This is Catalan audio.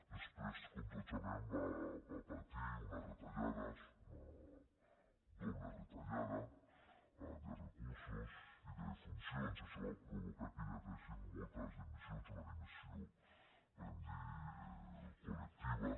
després com tots sabem va patir unes retallades una doble retallada de recursos i de funcions això va provocar que hi haguessin moltes dimissions una dimissió podem dir ne col·lectiva